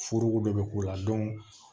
Furuko dɔ bɛ k'o la